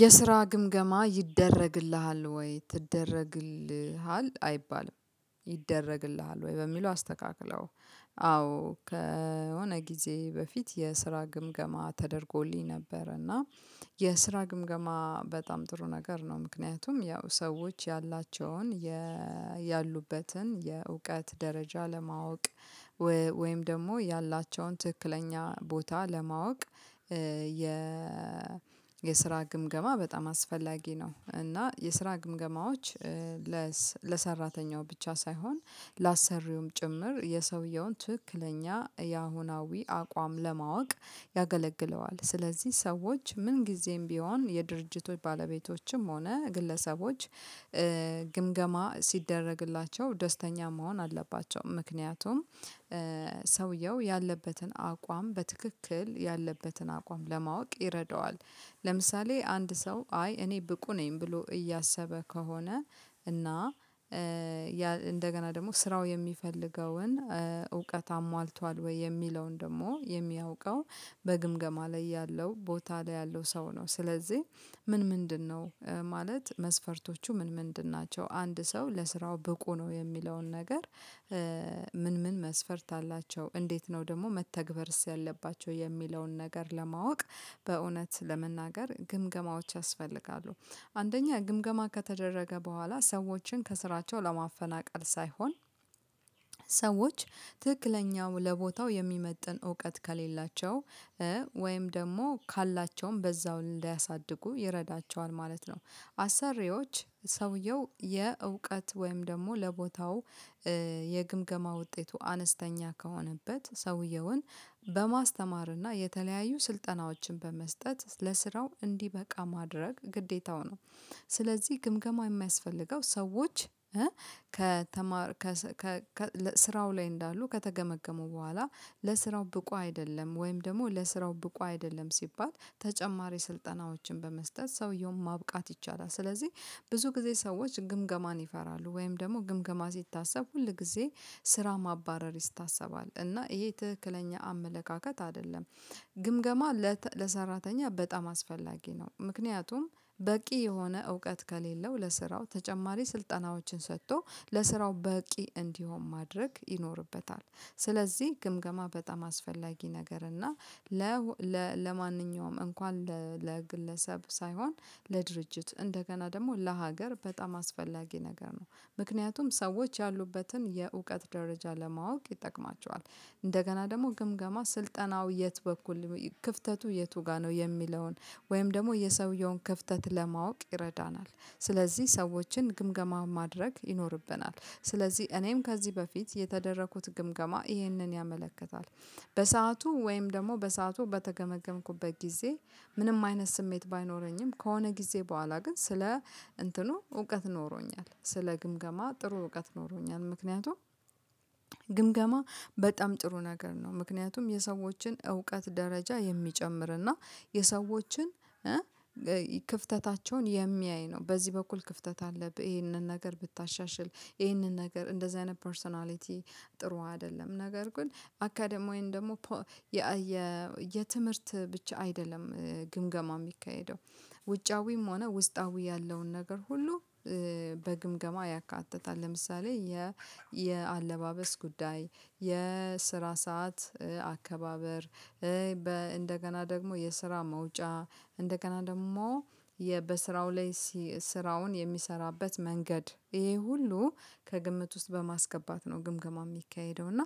የስራ ግምገማ ይደረግልሃል ወይ ትደረግልሃል አይባልም ይደረግልሃል ወይ በሚለው አስተካክለው አዎ። ከሆነ ጊዜ በፊት የስራ ግምገማ ተደርጎልኝ ነበር እና የስራ ግምገማ በጣም ጥሩ ነገር ነው። ምክንያቱም ያው ሰዎች ያላቸውን ያሉበትን የእውቀት ደረጃ ለማወቅ ወይም ደግሞ ያላቸውን ትክክለኛ ቦታ ለማወቅ። የ የስራ ግምገማ በጣም አስፈላጊ ነው እና የስራ ግምገማዎች ለሰራተኛው ብቻ ሳይሆን ላአሰሪውም ጭምር የሰውየውን ትክክለኛ የአሁናዊ አቋም ለማወቅ ያገለግለዋል። ስለዚህ ሰዎች ምን ጊዜም ቢሆን የድርጅቶች ባለቤቶችም ሆነ ግለሰቦች ግምገማ ሲደረግላቸው ደስተኛ መሆን አለባቸው ምክንያቱም ሰውየው ያለበትን አቋም በትክክል ያለበትን አቋም ለማወቅ ይረዳዋል። ለምሳሌ አንድ ሰው አይ እኔ ብቁ ነኝ ብሎ እያሰበ ከሆነ እና እንደገና ደግሞ ስራው የሚፈልገውን እውቀት አሟልቷል ወይ የሚለውን ደግሞ የሚያውቀው በግምገማ ላይ ያለው ቦታ ላይ ያለው ሰው ነው። ስለዚህ ምን ምንድነው ማለት መስፈርቶቹ ምን ምንድን ናቸው? አንድ ሰው ለስራው ብቁ ነው የሚለውን ነገር? ምን ምን መስፈርት አላቸው እንዴት ነው ደግሞ መተግበርስ ያለባቸው የሚለውን ነገር ለማወቅ በእውነት ለመናገር ግምገማዎች ያስፈልጋሉ። አንደኛ ግምገማ ከተደረገ በኋላ ሰዎችን ከስራቸው ለማፈናቀል ሳይሆን። ሰዎች ትክክለኛው ለቦታው የሚመጥን እውቀት ከሌላቸው ወይም ደግሞ ካላቸውም በዛው እንድያሳድጉ ይረዳቸዋል ማለት ነው። አሰሪዎች ሰውየው የእውቀት ወይም ደግሞ ለቦታው የግምገማ ውጤቱ አነስተኛ ከሆነበት ሰውየውን በማስተማርና የተለያዩ ስልጠናዎችን በመስጠት ለስራው እንዲበቃ ማድረግ ግዴታው ነው። ስለዚህ ግምገማ የሚያስፈልገው ሰዎች ከተማር ስራው ላይ እንዳሉ ከተገመገሙ በኋላ ለስራው ብቁ አይደለም ወይም ደግሞ ለስራው ብቁ አይደለም ሲባል ተጨማሪ ስልጠናዎችን በመስጠት ሰውየውን ማብቃት ይቻላል። ስለዚህ ብዙ ጊዜ ሰዎች ግምገማን ይፈራሉ ወይም ደግሞ ግምገማ ሲታሰብ ሁሉ ጊዜ ስራ ማባረር ይታሰባል እና ይሄ ትክክለኛ አመለካከት አይደለም። ግምገማ ለሰራተኛ በጣም አስፈላጊ ነው ምክንያቱም በቂ የሆነ እውቀት ከሌለው ለስራው ተጨማሪ ስልጠናዎችን ሰጥቶ ለስራው በቂ እንዲሆን ማድረግ ይኖርበታል። ስለዚህ ግምገማ በጣም አስፈላጊ ነገር እና ለማንኛውም እንኳን ለግለሰብ ሳይሆን ለድርጅት እንደገና ደግሞ ለሀገር በጣም አስፈላጊ ነገር ነው። ምክንያቱም ሰዎች ያሉበትን የእውቀት ደረጃ ለማወቅ ይጠቅማችዋል እንደገና ደግሞ ግምገማ ስልጠናው የት በኩል ክፍተቱ የቱ ጋር ነው የሚለውን ወይም ደግሞ የሰውየውን ክፍተት ለማወቅ ይረዳናል። ስለዚህ ሰዎችን ግምገማ ማድረግ ይኖርብናል ስለዚህ እኔም ከዚህ በፊት የተደረኩት ግምገማ ይህንን ያመለክታል። በሰአቱ ወይም ደግሞ በሰአቱ በተገመገምኩበት ጊዜ ምንም አይነት ስሜት ባይኖረኝም ከሆነ ጊዜ በኋላ ግን ስለ እንትኑ እውቀት ኖሮኛል ስለ ግምገማ ጥሩ እውቀት ኖሮኛል። ምክንያቱም ግምገማ በጣም ጥሩ ነገር ነው ምክንያቱም የሰዎችን እውቀት ደረጃ የሚጨምርና የሰዎችን ክፍተታቸውን የሚያይ ነው። በዚህ በኩል ክፍተት አለብህ ይሄንን ነገር ብታሻሽል ይሄንን ነገር እንደዚህ አይነት ፐርሰናሊቲ ጥሩ አይደለም። ነገር ግን አካዳሚውን ደግሞ የ የትምህርት ብቻ አይደለም ግምገማ የሚካሄደው። ውጫዊም ሆነ ውስጣዊ ያለውን ነገር ሁሉ በግምገማ ያካትታል። ለምሳሌ የአለባበስ ጉዳይ የስራ ሰዓት አከባበር። እንደገና ደግሞ የስራ መውጫ እንደገና ደግሞ በስራው ላይ ስራውን የሚሰራበት መንገድ ይሄ ሁሉ ከግምት ውስጥ በማስገባት ነው። ግምገማ የሚካሄደው እና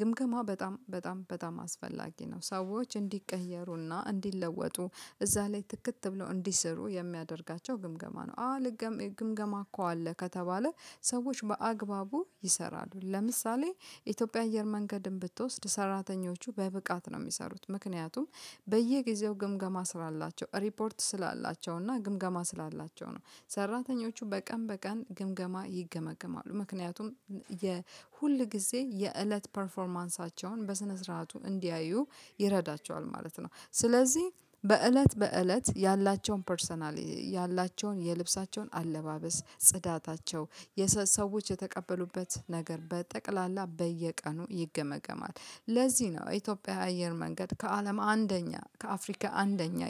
ግምገማ በጣም በጣም በጣም አስፈላጊ ነው። ሰዎች እንዲቀየሩና እንዲለወጡ እዛ ላይ ትክት ብለው እንዲሰሩ የሚያደርጋቸው ግምገማ ነው። አዎ ግምገማ እኮ አለ ከተባለ ሰዎች በአግባቡ ይሰራሉ። ለምሳሌ ኢትዮጵያ አየር መንገድም ብትወስድ ሰራተኞቹ በብቃት ነው የሚሰሩት። ምክንያቱም በየጊዜው ግምገማ ስላላቸው ሪፖርት ስላላቸው እና ግምገማ ስላላቸው ነው። ሰራተኞቹ በቀን በቀን ግምገማ ይገመገማሉ ምክንያቱም የሁሉ ጊዜ የእለት ፐርፎርማንሳቸውን በስነ ስርዓቱ እንዲያዩ ይረዳቸዋል ማለት ነው። ስለዚህ በእለት በእለት ያላቸውን ፐርሰናሊ ያላቸውን የልብሳቸውን አለባበስ ጽዳታቸው የሰዎች የተቀበሉበት ነገር በጠቅላላ በየቀኑ ይገመገማል። ለዚህ ነው የኢትዮጵያ አየር መንገድ ከአለም አንደኛ ከአፍሪካ አንደኛ